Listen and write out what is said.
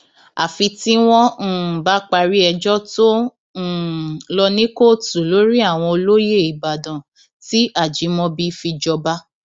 àfi tí wọn um bá parí ẹjọ tó ń um lọ ní kóòtù lórí àwọn olóyè ìbàdàn tí ajímọbì fi jọba